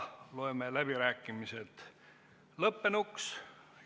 Loeme läbirääkimised lõppenuks.